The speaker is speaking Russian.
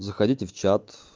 заходите в чат